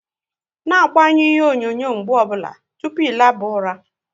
Na agbanyu ihe onyonyo mgbe ọ bụla tụpụ ị naba ula!